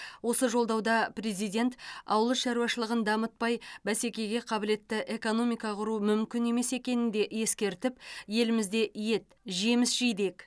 осы жолдауда президент ауыл шаруашылығын дамытпай бәсекеге қабілетті экономика құру мүмкін емес екенін де ескертіп елімізде ет жеміс жидек